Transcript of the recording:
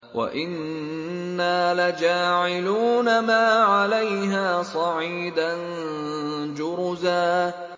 وَإِنَّا لَجَاعِلُونَ مَا عَلَيْهَا صَعِيدًا جُرُزًا